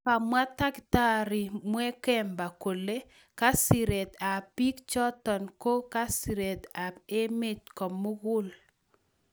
Komwa taktariit Mwakyembe kole" Kasiireet ap pik chotok , ko kasiireet ap emet ko mugul"